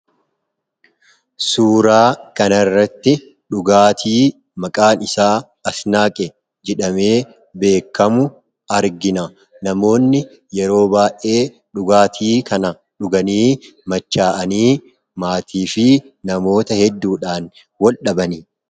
Suuraa kanarratti dhugaati maaqan isaa asnaqee jedhame beekkamu argina. Namoonni yeroo baay'ee dhugaati kana dhugaani macha'aani maatii fi namoota hedduudhan wal-dhabindha.